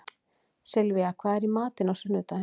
Sylvía, hvað er í matinn á sunnudaginn?